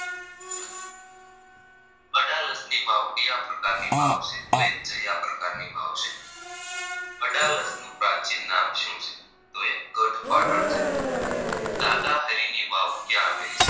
અડાલજની વાવ કાયા પ્રકારની વાવ છે તો એ જ્યાં પ્રકારની વાવ છે અડાલજનું પ્રાચીન નામ શું છે તો એ ગઢ પાટણ છે દાદાહારીની વાવ ક્યાં આવેલી છે